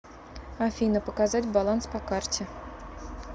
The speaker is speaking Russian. афина показать баланс по карте